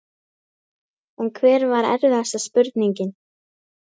En hver var erfiðasta spurningin?